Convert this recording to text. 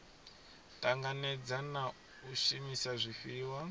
tanganedza na u shumisa zwifhiwa